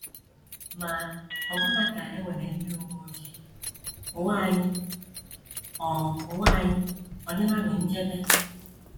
Ma ọbụna ka e nwere ndị uwe ojii, ụwa anyị ọ̀ ụwa anyị ọ̀ dịlanụ nchebe?